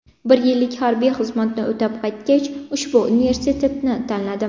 Bir yillik harbiy xizmatni o‘tab qaytgach, ushbu universitetni tanladim.